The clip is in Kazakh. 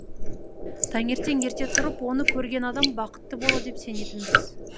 таңертең ерте тұрып оны көрген адам бақытты болады деп сенетінбіз